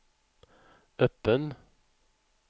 öppen